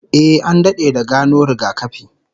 Eh, an dade da gano rigakafi